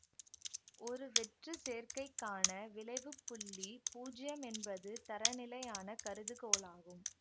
ஒரு வெற்று சேர்க்கைக்கான விளைவுப்புள்ளி பூஜ்யம் என்பது தரநிலையான கருதுகோளாகும்